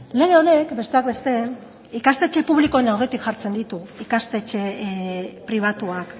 lege honek besteak beste ikastetxe publikoen aurretik jartzen ditu ikastetxe pribatuak